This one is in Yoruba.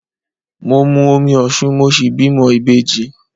Mo mu omi Osun mo sì bímọ ìbejì.